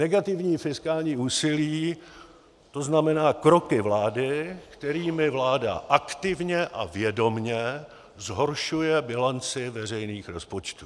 Negativní fiskální úsilí, to znamená kroky vlády, kterými vláda aktivně a vědomě zhoršuje bilanci veřejných rozpočtů.